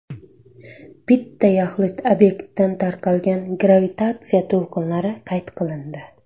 Bitta yaxlit obyektdan tarqalgan gravitatsiya to‘lqinlari qayd qilindi.